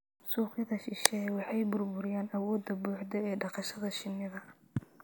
suuqyada shisheeye waxay burburiyaan awoodda buuxda ee dhaqashada shinnida.